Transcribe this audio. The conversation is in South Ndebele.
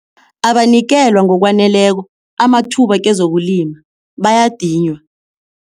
Abanikelwa ngokwaneleko amathuba kezokulima bayadinywa.